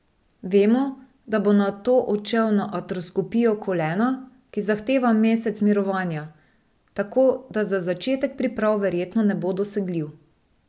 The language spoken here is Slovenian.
Vemo, da bo nato odšel na artroskopijo kolena, ki zahteva mesec mirovanja, tako da za začetek priprav verjetno ne bo dosegljiv.